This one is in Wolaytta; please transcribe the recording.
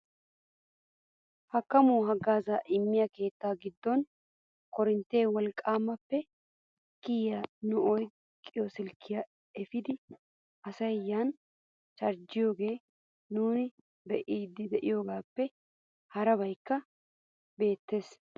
Hakkamuwaa haggaazaa immiyoo keettaa giddon korinttiyaa wolqqaappe kiyiyaa nu oyqqido silkkiyaa epiidi asay yani charjjiyoogaa nuuni be'iidi de'iyoogappe harabaykka beettees.